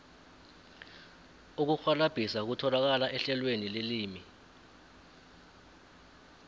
ukurhwalabhisa kutholakala ehlelweni lelimi